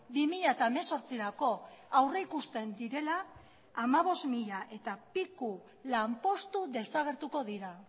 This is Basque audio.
bi mila hemezortzirako aurrikusten direla hamabost mila eta piku lanpostu desagertuko dira